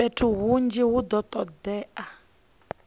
fhethu hunzhi hu do todea